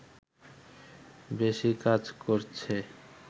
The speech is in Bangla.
বেশি কাজ করছে